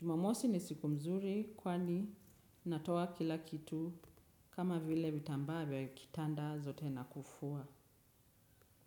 Jumamosi ni siku mzuri kwani natoa kila kitu kama vile vitambaa vya kitanda zote na kufua.